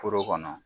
Foro kɔnɔ